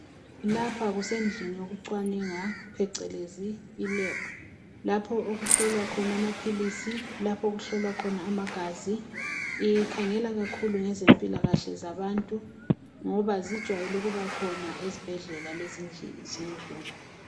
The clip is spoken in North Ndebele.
Lapha kusendlini yokucwaningwa phecelezi ilebhu lapho okuhlolwa amaphilisi okuhlolwa khona amagazi ikhangela kakhulu ngezempilakahle zabantu ngoba zijayele ukuba khona ezibhedlela lezindlini.